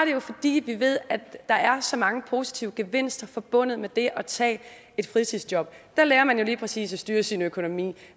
jo fordi vi ved at der er så mange positive gevinster forbundet med det at tage et fritidsjob der lærer man jo lige præcis at styre sin økonomi